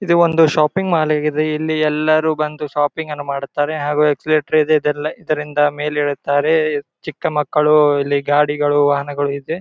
ಇದು ಒಂದು shopping mall ಆಗಿದೆ ಇಲ್ಲಿ ಎಲ್ಲರೂ ಬಂದು ಶಾಪಿಂಗ್ ಅನ್ನ ಮಾಡ್ತಾರೆ ಹಾಗು ಇಲ್ಲಿ ಎಕ್ಸ್ ಲೇಟರ್ ಇದೆ ಇದರಿಂದ ಮೇಲೆ ಏಳುತ್ತಾರೆ ಚಿಕ್ಕ ಮಕ್ಕಳು ಇಲ್ಲಿ ಗಾಡಿಗಳು ವಾಹನಗಳು ಇದೆ.